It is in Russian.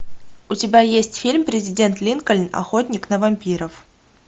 у тебя есть фильм президент линкольн охотник на вампиров